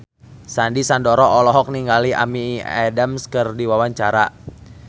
Sandy Sandoro olohok ningali Amy Adams keur diwawancara